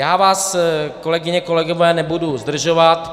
Já vás, kolegyně, kolegové, nebudu zdržovat.